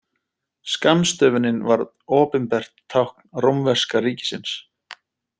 Skammstöfunin varð opinbert tákn rómverska ríkisins.